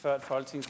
før